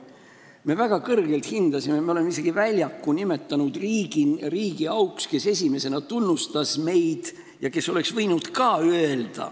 Me väga kõrgelt hindasime seda riiki, me oleme isegi väljaku nimetatud selle riigi auks, kes meid esimesena tunnustas.